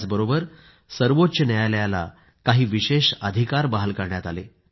याचबरोबर सर्वोच्च न्यायालयाला काही विशेष अधिकार बहाल करण्यात आले